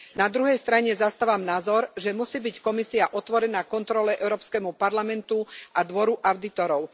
Na druhej strane zastávam názor, že musí byť Komisia otvorená kontrole Európskemu parlamentu a Dvoru audítorov.